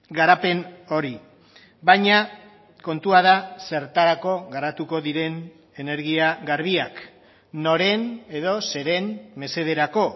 garapen hori baina kontua da zertarako garatuko diren energia garbiak noren edo zeren mesederako